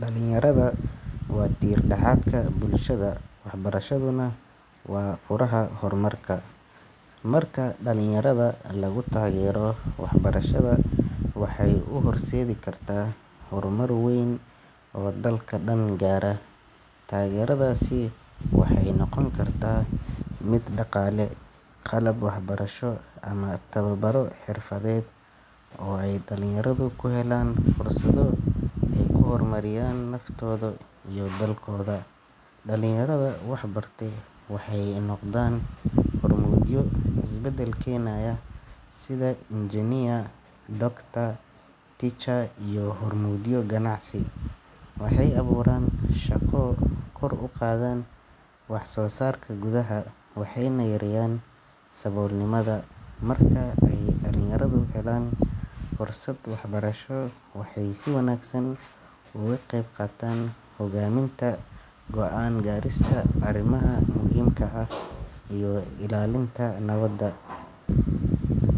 Dhalinyarada waa tiir-dhexaadka bulshada, waxbarashaduna waa furaha horumarka. Marka dhalinyarada lagu taageero waxbarashada, waxay u horseedi kartaa horumar weyn oo dalka dhan gaara. Taageeradaasi waxay noqon kartaa mid dhaqaale, qalab waxbarasho, ama tababaro xirfadeed oo ay dhalinyaradu ku helaan fursado ay ku horumariyaan naftooda iyo dalkooda. Dhalinyarada waxbartay waxay noqdaan hormuudyo isbeddel keenaya sida engineer, doctor, teacher iyo hormuudyo ganacsi. Waxay abuuraan shaqo, kor u qaadaan waxsoosaarka gudaha, waxayna yareeyaan saboolnimada. Marka ay dhalinyaradu helaan fursad waxbarasho waxay si wanaagsan uga qayb qaataan hoggaaminta, go’aan ka gaarista arrimaha muhiimka ah, iyo ilaalinta nabadda.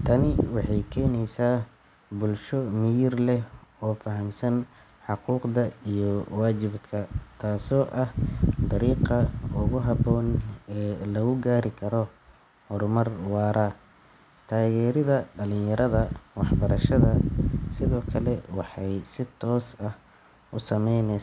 Tani waxay keenaysaa bulsho miyir leh oo fahamsan xuquuqda iyo waajibaadka, taasoo ah dariiqa ugu habboon ee lagu gaari karo horumar waara. Taageeridda dhalinyarada waxbarashada sidoo kale waxay si toos ah u saameyneys.